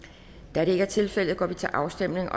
da det ikke er tilfældet går vi til afstemning